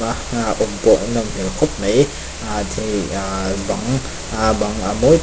aa awm pawh a nawm hmel khawp mai aa aa bang aa bang a--